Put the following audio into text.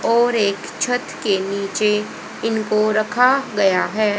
और एक छत के नीचे इनको रखा गया है।